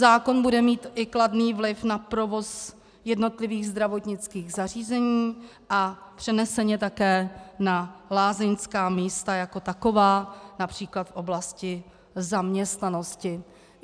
Zákon bude mít i kladný vliv na provoz jednotlivých zdravotnických zařízení a přeneseně také na lázeňská místa jako taková, například v oblasti zaměstnanosti.